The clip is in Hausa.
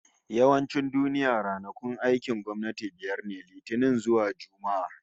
Yawancin duniya, ranakun aikin gwamnati biyar ne, Litinin zuwa Juma'a